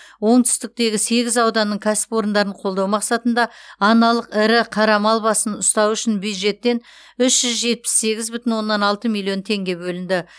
оңтүстіктегі сегіз ауданның кәсіпорындарын қолдау мақсатында аналық ірі қара мал басын ұстау үшін бюджеттен үш жүз жетпіс сегіз бүтін оннан алты миллион теңге бөлінді